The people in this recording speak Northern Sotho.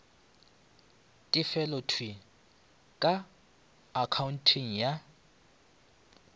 tefelo thwii ka akhaonteng ya